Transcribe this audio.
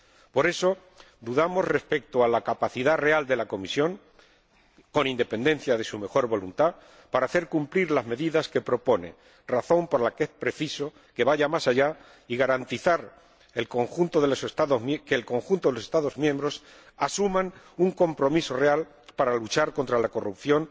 Por eso, dudamos respecto a la capacidad real de la Comisión, con independencia de su mejor voluntad, para hacer cumplir las medidas que propone, razón por la que es preciso que vaya más allá y garantizar que el conjunto de los Estados miembros asuma un compromiso real para luchar contra la corrupción,